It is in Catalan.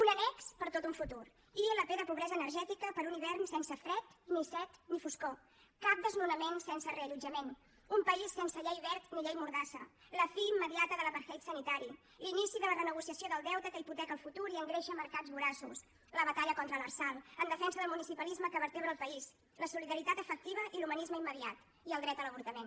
un annex per a tot un futur ilp de pobresa energètica per un hivern sense fred ni set ni foscor cap desnonament sense reallotjament un país sense llei wert ni llei mordassa la fi immediata de l’apartheid hipoteca el futur i engreixa mercats voraços la batalla contra l’lrsal en defensa del municipalisme que vertebra el país la solidaritat efectiva i l’humanisme immediat i el dret a l’avortament